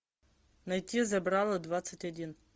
найти забрало двадцать один